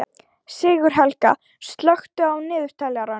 Sigurhelga, slökktu á niðurteljaranum.